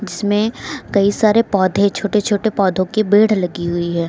इसमें कई सारे पौधे छोटे छोटे पौधों की भीड़ लगी हुई है।